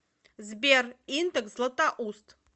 сбер индекс златоуст